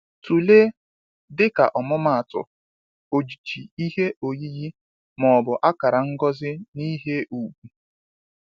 Tụlee, dịka ọmụmaatụ, ojiji ihe oyiyi ma ọ bụ akara ngosi n’ihe ùgwù.